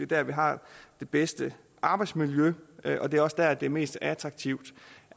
der vi har det bedste arbejdsmiljø og det er også der det er mest attraktivt